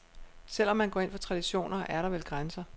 Selv om man går ind for traditioner, er der vel grænser.